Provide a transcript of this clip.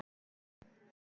Kom inn.